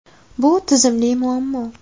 Bu tizimli muammo.